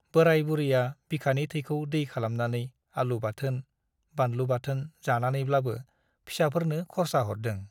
बोराय बुरैया बिखानि थैखौ दै खालामनानै आलु बाथोन , बानलु बाथोन जानानैब्लाबो फिसाफोरनो खरसा हरदों ।